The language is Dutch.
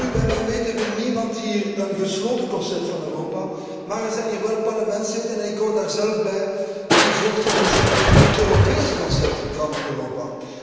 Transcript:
Welnu, bij mijn weten wil niemand hier een gesloten concept van Europa, maar er zijn hier wel parlementsleden, en ik hoor daar zelf bij, die voorstander zijn van een Europees concept van Europa.